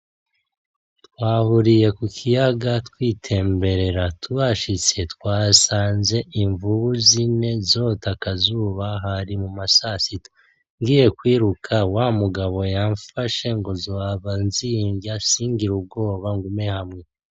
Twahuriye ku kiyaga twitemberera, tuhashitse twasanze imvubu zine zota akazuba, hari muma sasita. Ngiye kwiruka wa mugabo yamfashe ngo zohava zinrya singire ubwoba, ngume hamwe.